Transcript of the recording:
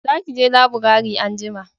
za ki je laburare anjima!